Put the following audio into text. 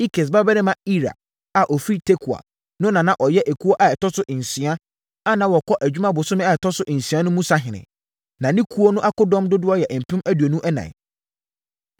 Ikes babarima Ira a ɔfiri Tekoa no na na ɔyɛ ekuo a ɛtɔ so nsia, a na wɔkɔ adwuma bosome a ɛtɔ so nsia mu no sahene. Na ne ekuo no akodɔm dodoɔ yɛ mpem aduonu ɛnan (24,000).